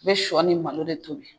N bɛ shɔ ni malo de tobi.